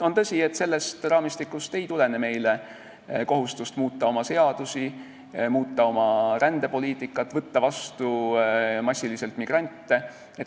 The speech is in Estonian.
On tõsi, et sellest raamistikust ei tulene meile kohustust muuta oma seadusi, muuta oma rändepoliitikat, võtta vastu massiliselt migrante.